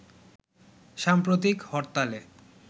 সাম্প্রতিক হরতালে